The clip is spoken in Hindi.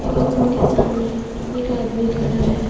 ओ उनके सामने एक आदमी खड़ा है।